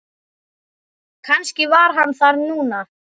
Kannski var hann þar núna.